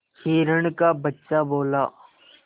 हिरण का बच्चा बोला